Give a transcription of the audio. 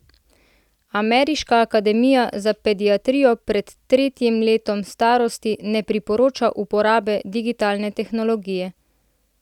Ameriška akademija za pediatrijo pred tretjim letom starosti ne priporoča uporabe digitalne tehnologije.